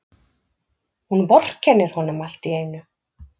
Hún vorkennir honum alltíeinu.